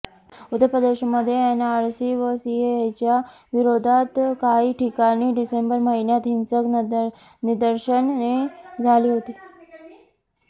उत्तर प्रदेशमध्ये एनआरसी व सीएएच्या विरोधात काही ठिकाणी डिसेंबर महिन्यात हिंसक निदर्शने झाली होती